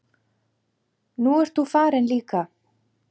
Nú ert þú farin líka.